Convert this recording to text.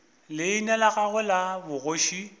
leina la gagwe la bogoši